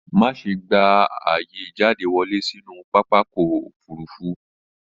Má ṣe gba ààyè ìjáde wọlé sínú pápakọ̀ òfurufú